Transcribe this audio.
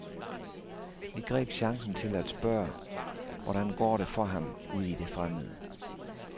Vi greb chancen til at spørge, hvordan går det for ham ude i det fremmede.